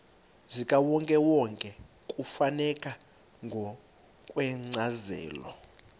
zikawonkewonke kufuneka ngokwencazelo